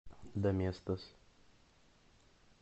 доместос